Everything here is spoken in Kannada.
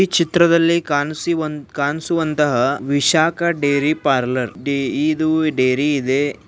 ಈ ಚಿತ್ರದಲ್ಲಿ ಕಾಣಿಸುವ ಕಾಣಿಸುವಂತಹ ವಿಶಾಖ ಡೇರಿ ಪಾರ್ಲರ್ ಡಿ ಇದು ಡೈರಿ ಇದೆ.